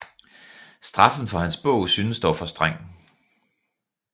Straffen for hans bog synes dog for streng